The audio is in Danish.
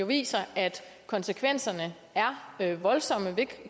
viser at konsekvenserne er voldsomme ved